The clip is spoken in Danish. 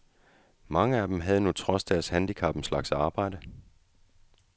Mange af dem havde nu trods deres handicap en slags arbejde.